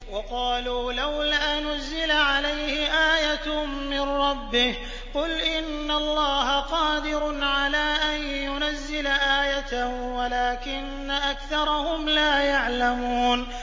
وَقَالُوا لَوْلَا نُزِّلَ عَلَيْهِ آيَةٌ مِّن رَّبِّهِ ۚ قُلْ إِنَّ اللَّهَ قَادِرٌ عَلَىٰ أَن يُنَزِّلَ آيَةً وَلَٰكِنَّ أَكْثَرَهُمْ لَا يَعْلَمُونَ